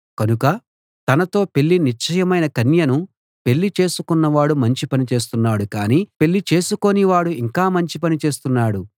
కనుక తనతో పెళ్ళి నిశ్చయమైన కన్యను పెళ్ళి చేసుకొన్నవాడు మంచి పని చేస్తున్నాడు కాని పెళ్ళి చేసుకోనివాడు ఇంకా మంచి పని చేస్తున్నాడు